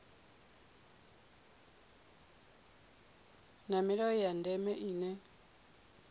na milayo ya ndeme ine